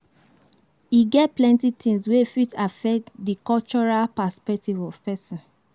E get plenty things wey fit affect di cultural perspective of person